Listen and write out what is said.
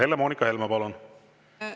Helle-Moonika Helme, palun!